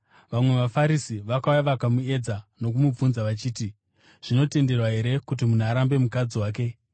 Vamwe vaFarisi vakauya vakamuedza nokumubvunza vachiti, “Zvinotenderwa here kuti munhu arambe mukadzi wake?”